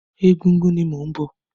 Ẹgúngún ni mò ń bọ̀.